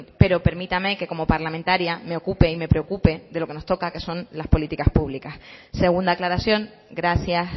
pero permítame que como parlamentaria me ocupe y me preocupe de lo que nos toca que son las políticas públicas segunda aclaración gracias